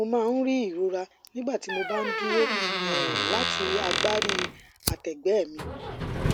mo máa ń rí ìrora nígbà tí mo bá dúró um láti agbárí àtẹgbẹ mi